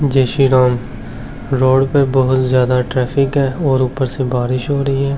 जय श्री राम रोड पे बहुत ज्यादा ट्रैफिक है और ऊपर से बारिश हो रही है।